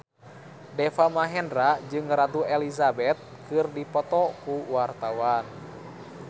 Deva Mahendra jeung Ratu Elizabeth keur dipoto ku wartawan